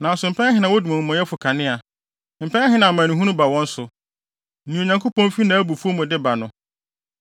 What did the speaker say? “Nanso mpɛn ahe na wodum amumɔyɛfo kanea? Mpɛn ahe na amanehunu ba wɔn so, nea Onyankopɔn fi nʼabufuw mu de ba no?